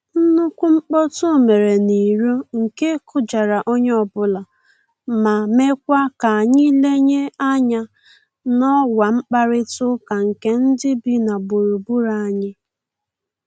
Nnukwu mkpọtụ mere n'iro nke kụjara onye ọbụla, ma mekwa k'anyị lenye anya n'ọwa mkparịta ụka nke ndị bi na gburugburu anyị